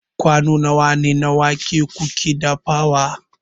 kwano nawa na wake kuke dafawa